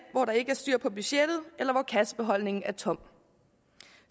hvor der ikke er styr på budgettet eller hvor kassebeholdningen er tom